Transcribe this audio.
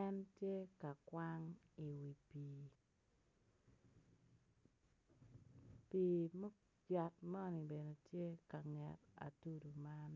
en tye ka kwang iwi pii yat moni bene tye ka nget atudu man.